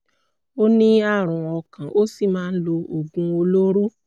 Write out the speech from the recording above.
ó ní ààrùn ọkàn ó sì máa ń lo oògùn olóró